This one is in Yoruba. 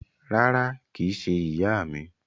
Rárá, kìí se ìyá mi